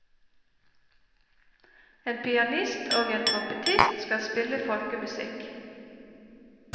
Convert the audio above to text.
En pianist og en trompetist skal spille folkemusikk.